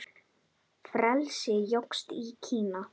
Frelsi jókst í Kína.